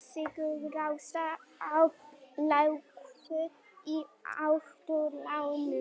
Sigurásta, lækkaðu í hátalaranum.